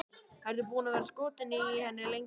Ertu búinn að vera skotinn í henni lengi?